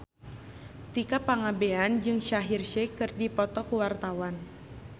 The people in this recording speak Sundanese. Tika Pangabean jeung Shaheer Sheikh keur dipoto ku wartawan